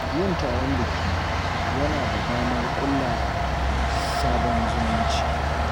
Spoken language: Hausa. Yin taron biki yana ba da damar ƙulla sabon zumunci.